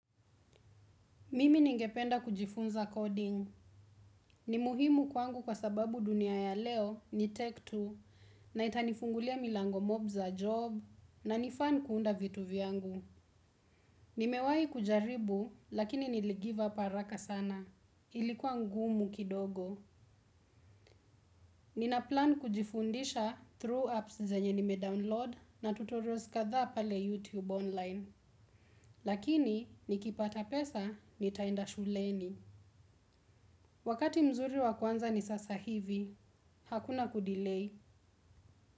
Mimi ningependa kujifunza coding. Ni muhimu kwangu kwa sababu dunia ya leo ni tech tu na itanifungulia milango mob za job na ni fan kuunda vitu vyangu. Nimewai kujaribu, lakini nili vive up haraka sana. Ilikuwa ngumu kidogo. Ninaplan kujifundisha through apps zenye nime download na tuturials kadhaa pale YouTube online. Lakini, nikipata pesa, nitaenda shuleni. Wakati mzuri wa kuanza ni sasa hivi, hakuna kudelay.